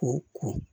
Ko ko